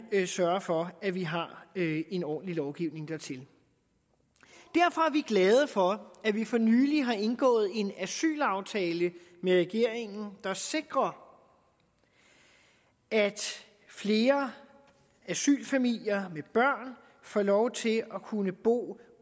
sørge for at vi har en ordentlig lovgivning dertil derfor er vi glade for at vi for nylig har indgået en asylaftale med regeringen der sikrer at flere asylfamilier med børn får lov til at kunne bo